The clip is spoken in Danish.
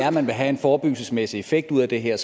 at man vil have en forebyggelsesmæssig effekt ud af det her